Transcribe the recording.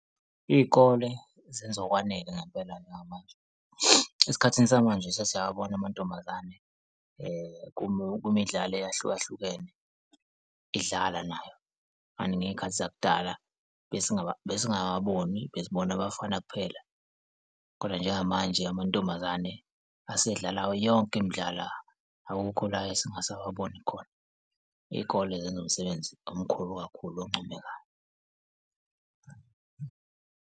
Iy'kole zenze okwanele ngampelani namanje. Esikhathini samanje sesiyawabona amantombazane kumidlalo eyahlukahlukene idlala nayo, kanti ney'khathi zakudala besiwababoni, besibona abafana kuphela. Kodwa njengamanje amantombazane asedlala yonke imdlalo, akukho la esingasababoni khona iy'kole zenza umsebenzi omkhulu kakhulu oncomekayo.